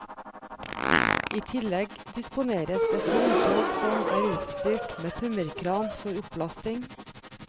I tillegg disponeres et vogntog som er utstyrt med tømmerkran for opplasting.